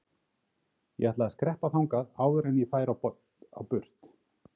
Ég ætlaði að skreppa þangað áður en ég færi á burt.